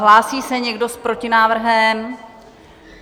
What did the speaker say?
Hlásí se někdo s protinávrhem?